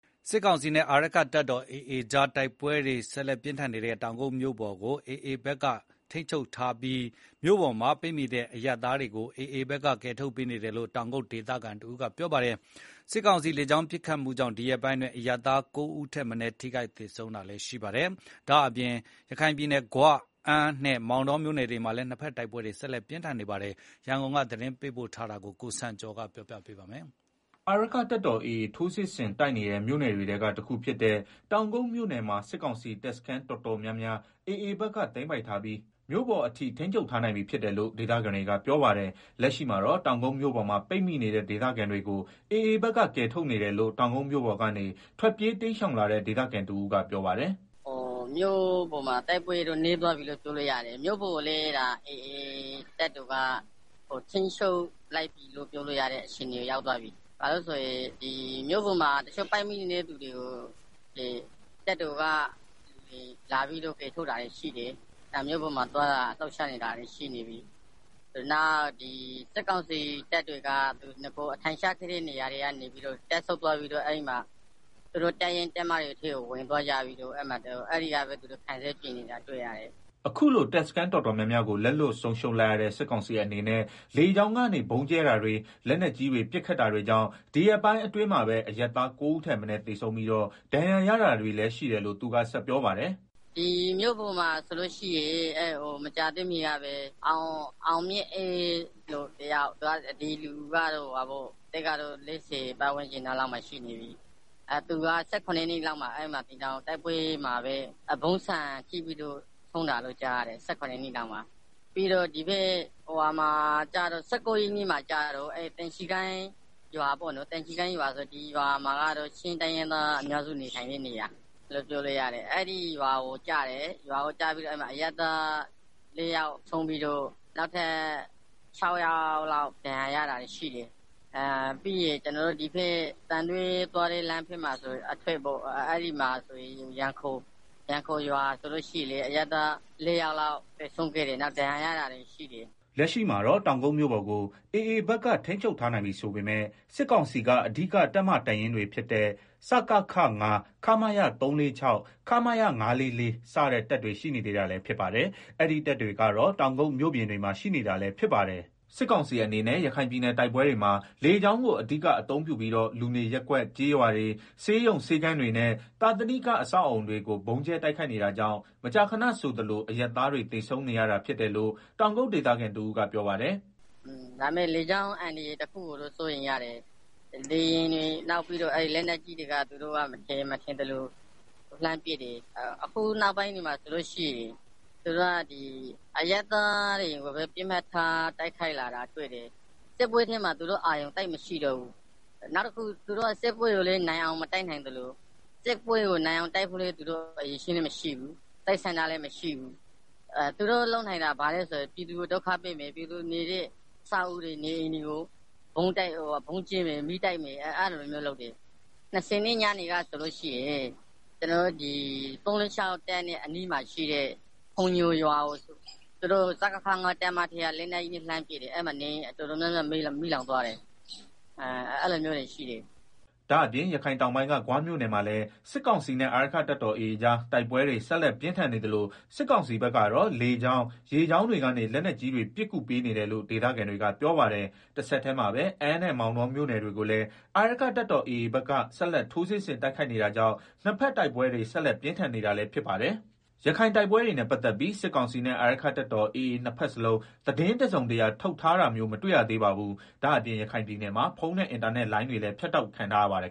စစ်ကောင်စီနဲ့ အာရက္ခတပ်တော် AA ကြား တိုက်ပွဲပြင်းထန်နေတဲ့ တောင်ကုတ်မြို့ပေါ်ကို AAဘက်က ထိန်းချုပ်ထားပြီး မြို့ပေါ်မှာပိတ်မိနေတဲ့အရပ်သားတွေကို AA က ကယ်ထုတ်နေတယ်လို့ တောင်ကုတ်ဒေသခံတဦးကပြောပါတယ်။ စစ်ကောင်စီ လေကြောင်းပစ်ခတ်မှုကြောင့် ဒီရက်ပိုင်း အရပ်သား (၉) ဦးထက်မနည်း ထိခိုက်သေဆုံးခဲ့ပါတယ်။ ဒါ့အပြင် ရခိုင်ပြည်နယ်က ဂွ၊ အမ်းနဲ့ မောင်တောမြို့နယ်တွေမှာလည်း တိုက်ပွဲတွေ ဆက်လက်ပြင်းထန်နေပါတယ်။ ရခိုင်ဘက်က စစ်ရေးအခြေအနေ ရန်ကုန်က သတင်းပေးပို့တဲ့သတင်းကို အခြေခံပြီး ကိုစံကျော်က တင်ပြပေးထားပါတယ်။ အာရက္ခတပ်တော် AA ထိုးစစ်ဆင်တိုက်နေတဲ့ မြို့နယ်တွေထဲက တခုဖြစ်တဲ့ တောင်ကုတ်မြို့နယ်မှာ စစ်ကောင်စီတပ်စခန်းတော်တော်များများ AAဘက်ကသိမ်းပိုက်ထားပြီး မြို့ပေါ်အထိ ထိန်းချုပ်ထား နိုင်ပြီဖြစ်တယ်လို့ ဒေသခံတွေကပြောပါတယ်။ လက်ရှိမှာတော့ တောင်ကုတ်မြို့ပေါ်မှာ ပိတ်မိနေတဲ့ ဒေသခံတွေကို AA ဘက်က ကယ်ထုတ်နေတယ်လို့တောင်ကုတ်မြို့ပေါ်ကနေ ထွက်ပြေး တိမ်းရှောင် လာတဲ့ ဒေသခံတဦးကပြောပါတယ်။ “မြို့ပေါ်မှာ တိုက်ပွဲတွေက နည်းသွားပြီလို့ပြောလို့ရတယ်။ မြို့ပေါ်ကို AA က ထိန်းချုပ်ထားပြီလို့ ပြောလို့ရတယ်။ မြို့ပေါ်မှာ ပိတ်မိနေတဲ့သူတွေကို တပ်တော်လာပြီးတော့ ကယ်ထုတ်နေတာတွေလည်း ရှိတယ်။ သွားလာလှုပ်ရှားနေတာတွေရှိတယ်။ နောက် စစ်ကောင်စီတပ်တွေက အထိုင်ချထားတဲ့ တပ်ဆုတ်သွားပြီးတော့ သူတို့ တပ်ရင်း တပ်မတွေထဲကို ဝင်သွားကြပြီးတော့ အဲဒီကနေ ခံစစ်ပြင်နေတာတွေ့တယ်။” အခုလို တပ်စခန်းတော်တော်များများ လက်လွတ်ဆုံးရှုံးလိုက်ရတဲ့ စစ်ကောင်စီအနေနဲ့ လေကြောင်း ကနေ ဗုံးကြဲတာတွေ၊ လက်နက်ကြီးတွေနဲ့ပစ်ခတ်တာတွေကြောင့် ဒီရက်ပိုင်းအတွင်းမှာပဲ အရပ်သား ၉ ဦးထက်မနည်း သေဆုံးပြီးဒဏ်ရာရတာတွေလည်းရှိတယ်လို့ သူကဆက်ပြောပါတယ်။ “မြို့ပေါ်မှာဆိုရင် မကြာသေးခင်ကပဲ အောင်မြင့်အေးဆိုသူတယောက် သူကတော့ အသက် ၄၀ လောက် ရှိနေပြီ။ သူက ၁၇ ရက်နေ့လောက်မှာ တိုက်ပွဲမှာပဲ ဗုံးဆံထိပြီးတော့ဆုံးတယ်လို့ကြားတယ်။ ပြီးတော့ ၁၉ ရက်နေ့မှာကျတော့ သင်္ချီကိုင်းရွာ ဒီရွာကတော့ ချင်းတိုင်းသားတွေနေတဲ့ရွာ အဲဒီရွာကို ဗုံးကျတယ်။ အဲဒီမှာ အရပ်သား ၄ ယောက်ဆုံးပြီးတော့နောက်ထပ် ၆ ယောက်လောက် ဒဏ်ရာရတာရှိတယ်။ ပြီးရင် ဒီဘက် သံတွဲဘက်ကိုထွက်တဲ့လမ်းမှာ ရန်ခိုရွာ အဲမှာလည်း အရပ်သား ၄ ယောက်လောက် သေဆုံးခဲ့တယ်။ နောက်ဒဏ်ရာရတာလည်းရှိတယ်။” လက်ရှိမှာတော့ တောင်ကုတ်မြို့ပေါ်ကို AA ဘက်က ထိန်းချုပ်ထားနိုင်ပြီဆိုပေမယ့် စစ်ကောင်စီက အဓိကတပ်မ,တပ်ရင်းတွေဖြစ်တဲ့ စကခ (၅) ၊ ခမရ (၃၄၆) ၊ ခမရ (၅၄၄) စတဲ့တပ်တွေ မြို့အပြင်ဘက်မှာ ရှိနေပါသေးတယ်။ စစ်ကောင်စီအနေနဲ့ ရခိုင်ပြည်နယ်တိုက်ပွဲတွေမှာ လေကြောင်းကို အဓိကအသုံးပြီးတော့ လူနေရပ်ကွက် ကျေးရွာတွေဆေးရုံ ဆေးခန်းတွေနဲ့ သာသနိက အဆောက်အအုံတွေကိုဗုံးကြဲ တိုက်ခိုက်နေတာကြောင့် မကြာခဏဆိုသလိုအရပ်သားတွေ သေဆုံးနေကြရတယ်လို့ တောင်ကုတ်ဒေသခံတဦးက ပြောပါတယ်။ “ လေကြောင်းအန္တရာယ်တခုကိုတော့ စိုးရိမ်ရတယ်။ လေယာဉ်တွေ၊ လက်နက်ကြီးတွေက မထင်ရင် မထင်သလို လှမ်းပစ်တယ်။ အခုနောက်ပိုင်းဆိုရင် သူတို့က အရပ်သားတွေကိုပဲ ပစ်မှတ်ထား တိုက်ခိုက်လာတာတွေ့တယ်။ စစ်ပွဲထဲမှာအာရုံသိပ်မရှိတော့ဘူး။ နောက်တခု သူတို့က စစ်ပွဲကိုလည်း နိုင်အောင်မတိုက်နိုင်သလို နိုင်အောင်တိုက်ဖို့ အရည်အချင်းလည်းမရှိဘူး။ သူတို့လုပ်နိုင်တာ ဘာလဲ ဆိုရင် ပြည်သူတွေနေတဲ့ အဆောက်အဦးတွေ၊ နေအိမ်တွေကို ဗုံးကြဲမယ်၊မီးတိုက်မယ်၊ အဲလိုမျိုး လုပ်တယ်။ ၂ဝ ရက်နေ့ညနေကဆိုရင် ခမရ (၃၄၆) တပ်နဲ့အနီးမှာရှိတဲ့ ဖုန်ညိုရွာကို စကခ ၅ တပ်မ ထဲက လက်နက်ကြီးနဲ့ လှမ်းပစ်တယ်။ အဲမှာ နေအိမ်တော်တော်များများ မီးလောင်သွားတယ်။ အဲလို မျိုးတွေရှိတယ်။” ဒါ့အပြင် ရခိုင်တောင်ပိုင်းက ဂွမြို့နယ်မှာလည်း စစ်ကောင်စီနဲ့အာရက္ခတပ်တော် AA ကြား တိုက်ပွဲတွေ ဆက်လက်ပြင်းထန်နေသလို စစ်ကောင်စီဘက်ကတော့ လေကြောင်း ရေကြောင်းတွေကနေ လက်နက်ကြီးတွေ ပစ်ကူပေးနေတယ်လို့ ဒေသခံတွေကပြောပါတယ်။ တဆက်တည်းမှာပဲ အမ်းနဲ့ မောင်တောမြို့နယ်တွေကိုလည်း အာရက္ခတပ်တော် AAဘက်က ဆက်လက်ထိုးစစ်ဆင် တိုက်ခိုက်နေ တာကြောင့် နှစ်ဘက်တိုက်ပွဲတွေ ဆက်လက်ပြင်းထန်နေပါတယ်။ ရခိုင်တိုက်ပွဲတွေနဲ့ ပတ်သက်ပြီး စစ်ကောင်စီနဲ့ အာရက္ခတပ်တော် AA နှစ်ဘက်စလုံး သတင်းတစုံတရာ ထုတ်တာမျိုး မတွေ့ရသေးပါဘူး။ ဒါ့အပြင် ရခိုင်ပြည်နယ်မှာ ဖုန်းနဲ့အင်တာနက်လိုင်းတွေ ဖြတ်တောက်ခံထားရပါတယ်